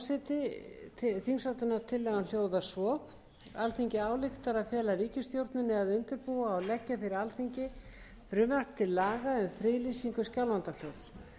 hæstvirtur forseti þingsályktunartillagan hljóðar svo alþingi ályktar að fela ríkisstjórninni að undirbúa og leggja fyrir alþingi frumvarp til laga um friðlýsingu skjálfandafljóts